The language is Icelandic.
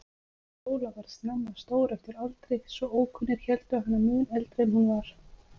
Sóla varð snemma stór eftir aldri, svo ókunnir héldu hana mun eldri en hún var.